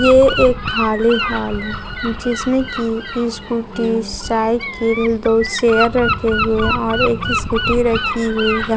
ये एक खाली हॉल है जिसमें की स्कूटी साइकिल दो सेयर रखे हुए हैं और एक स्कूटी रखी हुई है।